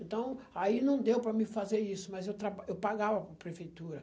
Então, aí não deu para me fazer isso, mas eu traba eu pagava para prefeitura.